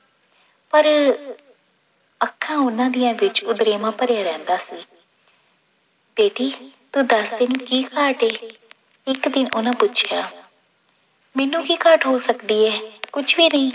ਪਰ ਅੱਖਾਂ ਉਹਨਾਂ ਦੀਆਂ ਵਿੱਚ ਉਦਰੇਵਾਂ ਭਰਿਆ ਰਹਿੰਦਾ ਸੀ ਬੇਟੀ ਤੂੰ ਦਸ ਤੈਨੂੰ ਕੀ ਘਾਟ ਹੈ ਇੱਕ ਦਿਨ ਉਹਨਾਂ ਪੁੱਛਿਆ ਮੈਨੂੰ ਕੀ ਘਾਟ ਹੋ ਸਕਦੀ ਹੈ ਕੁਛ ਵੀ ਨਹੀਂ